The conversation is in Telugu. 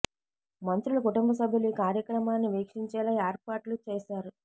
మంత్రు ల కుటుంబ సభ్యులు ఈ కార్యక్రమాన్ని వీక్షించేలా ఏర్పాట్లు చేశారు